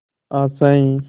आशाएं